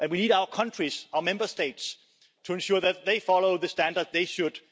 And we need our countries, our Member States, to ensure that they follow the standards they should.